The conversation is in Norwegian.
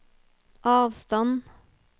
avstand